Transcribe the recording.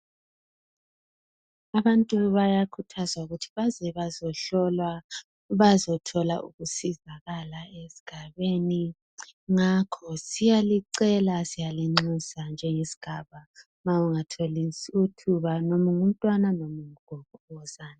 Abantu bayakhuthazwa ukuthi baze bazehlolwa, Bazothola ukusizakala esigabeni. Ngakho siyalicela, siyalinxusa ., njengesigaba. Ma ungathola ithuba , loba ungumntwana, loba ungugogo. Wozani.